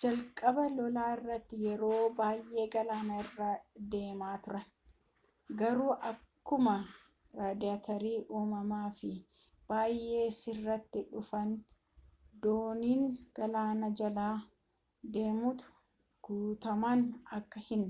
jalqaba lolaa irratti yeroo baayyee galaana irra deemaa turan garuu akkuma raadaariin uumamaa fi bayyee sirrataa dhufeen dooniin galaana jala deemtu guttumman akka hin